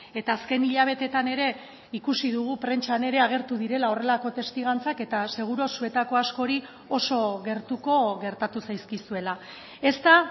eta azken hilabeteetan ere ikusi dugu prentsan ere agertu direla horrelako testigantzak eta seguru zuetako askori oso gertuko gertatu zaizkizuela ez da